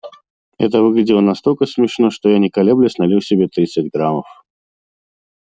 это выглядело настолько смешно что я не колеблясь налил себе тридцать граммов